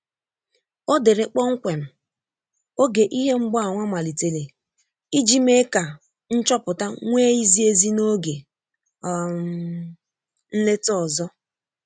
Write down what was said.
O dere kpọmkwem oge ihe mgbaàmà malitere iji mee ka nchọpụta nwee izi ezi n'oge um nleta ọzơ